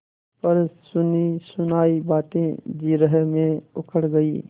पर सुनीसुनायी बातें जिरह में उखड़ गयीं